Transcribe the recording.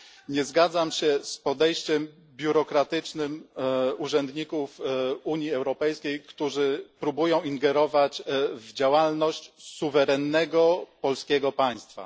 Nie zgadzam się z podejściem biurokratycznym urzędników Unii Europejskiej, którzy próbują ingerować w działalność suwerennego polskiego państwa.